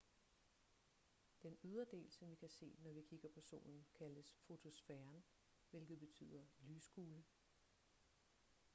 den ydre del som vi kan se når vi kigger på solen kaldes fotosfæren hvilket betyder lyskugle